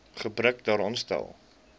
gebrek daaraan stel